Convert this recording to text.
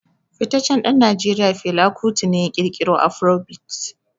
Fitaccen dan Najeriya Fela Kuti ne ya kirkiro Afrobeat.